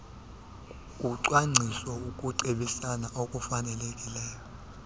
licwangcise ukucebisana okufanelekileyo